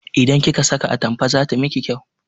Idan kika saka atampa zata miki kyau